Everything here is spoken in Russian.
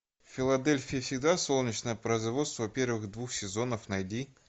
в филадельфии всегда солнечно производство первых двух сезонов найди